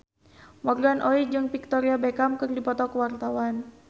Morgan Oey jeung Victoria Beckham keur dipoto ku wartawan